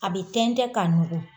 A bɛ tɛntɛn k'a nugu.